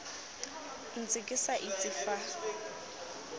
ntse ke sa itse fa